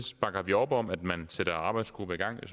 bakker vi op om at man sætter en arbejdsgruppe i gang